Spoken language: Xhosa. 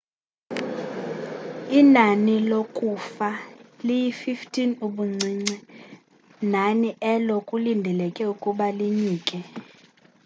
inani lokufa liyi-15 ubuncinci nani elo kulindeleke ukuba linyuke